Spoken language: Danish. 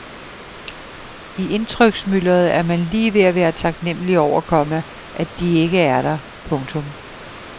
I indtryksmylderet er man lige ved at være taknemmelig over, komma at de ikke er der. punktum